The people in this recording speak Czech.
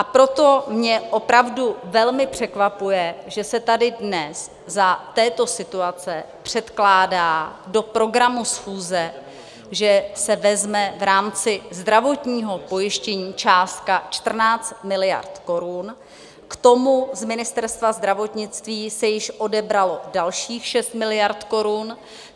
A proto mě opravdu velmi překvapuje, že se tady dnes za této situace předkládá do programu schůze, že se vezme v rámci zdravotního pojištění částka 14 miliard korun, k tomu z Ministerstva zdravotnictví se již odebralo dalších 6 miliard korun.